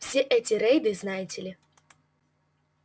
все эти рейды знаете ли